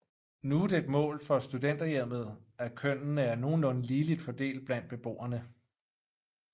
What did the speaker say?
Nu er det et mål for Studenterhjemmet at kønnene er nogenlunde ligeligt fordelt blandt beboerne